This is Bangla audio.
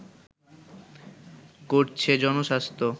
করছে জনস্বাস্থ্য